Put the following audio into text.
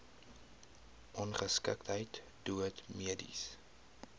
ongeskiktheid dood mediese